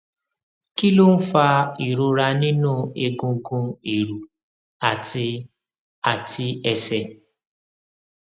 kí ló ń fa ìrora nínú egungun ìrù àti àti ẹsẹ